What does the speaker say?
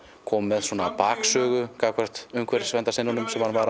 koma með gagnvart umhverfisverndarsinnunum sem hann var